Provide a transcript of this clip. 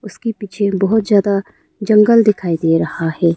उसके पीछे बहुत ज्यादा जंगल दिखाई दे रहा है।